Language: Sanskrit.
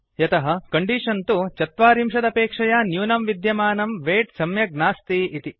यतः कण्डीषन् तु ४० चत्वारिंशदपेक्षया न्यूनं विद्यमानं वैट् सम्यक् नास्ति इति